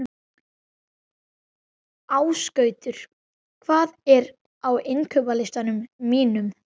Ásgautur, hvað er á innkaupalistanum mínum?